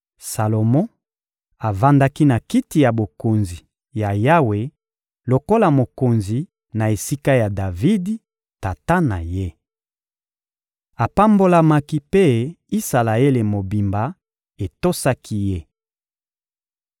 Salomo avandaki na Kiti ya Bokonzi ya Yawe lokola mokonzi na esika ya Davidi, tata na ye. Apambolamaki mpe Isalaele mobimba etosaki ye.